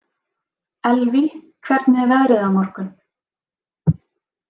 Elvý, hvernig er veðrið á morgun?